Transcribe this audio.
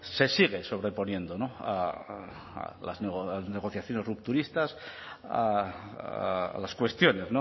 se sigue sobreponiendo a las negociaciones rupturistas a las cuestiones